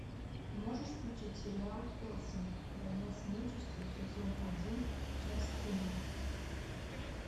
можешь включить сериал хеллсинг война с нечистью сезон один часть тринадцать